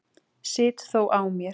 Sit þó á mér.